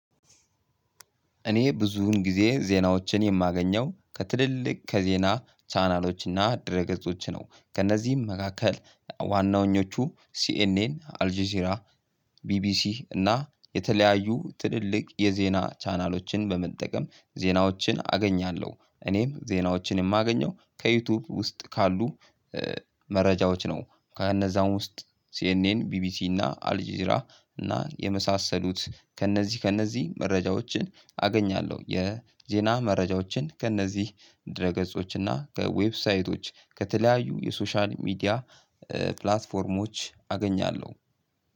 እኔ ብዙን ጊዜ ዜናዎችን የማገኘው ከትልልቅ ከዜና ቻናሎችና ድረ ገጾች ነው ከእነዚህም መካከል ዋናዎቹ ሲኤንኤን አልጄዚራ ቢቢሲ እና የተለያዩ ትልልቅ የዜና ቻናሎችን በመጠቀም ዜናዎችን አገኛለሁ። እኔም ዜናዎችን የማገኘው ከዩቲዩብ ውስጥ ካሉ መረጃዎች ነው። ከእነዛው ውስጥ ሲኤንኤን ቢቢሲ እና አልጂዝራ እና የመሳሰሉት ከእነዚህ ከእነዚህ መረጃዎችን አገኛለሁ። የዜና መረጃዎችን ከእነዚህ ድረ ገጾች እና ከዌብሳይቶች ከተለያዩ የሶሻል ሚዲያ ፕላትፎርሞች አገኛለሁ።